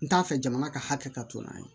N t'a fɛ jamana ka hakɛ ka to n'a ye